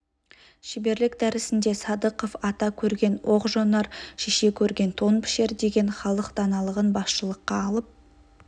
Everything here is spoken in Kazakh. шеберлік дәрісінде садықов ата көрген оқ жонар шеше көрген тон пішер деген халық даналығын басшылыққа алып